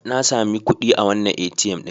Na sami kuɗi a wannan ATM ɗin.